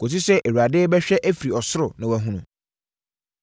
kɔsi sɛ Awurade bɛhwɛ afiri ɔsoro, na wahu.